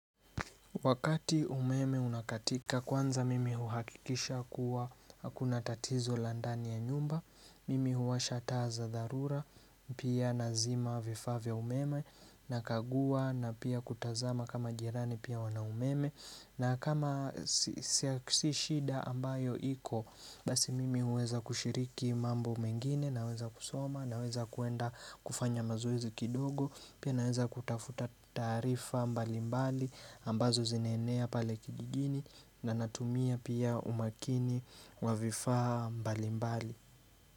Wakati umeme unakatika kwanza mimi huhakikisha kuwa hakuna tatizo la ndani ya nyumba, mimi huwasha taa dharura, pia nazima vifaa vya umeme nakagua na pia kutazama kama jirani pia wana umeme na kama si shida ambayo iko, basi mimi huweza kushiriki mambo mengine naweza kusoma naweza kuenda kufanya mazoezi kidogo, Pia naeza kutafuta taarifa mbali mbali ambazo zinaenea pale kijijini na natumia pia umakini wa vifaa mbali mbali.